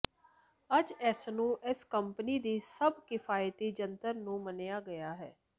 ਅੱਜ ਇਸ ਨੂੰ ਇਸ ਕੰਪਨੀ ਦੀ ਸਭ ਕਿਫ਼ਾਇਤੀ ਜੰਤਰ ਨੂੰ ਮੰਨਿਆ ਗਿਆ ਹੈ